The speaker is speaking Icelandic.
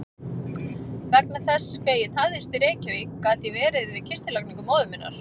Vegna þess hve ég tafðist í Reykjavík gat ég verið við kistulagningu móður minnar.